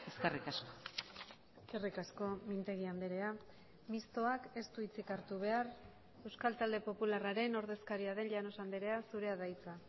eskerrik asko eskerrik asko mintegi andrea mistoak ez du hitzik hartu behar euskal talde popularraren ordezkaria den llanos andrea zurea da hitza